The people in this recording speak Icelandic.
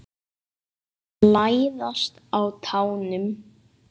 Læðast á tánum.